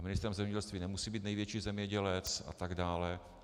A ministrem zemědělství nemusí být největší zemědělec, a tak dále.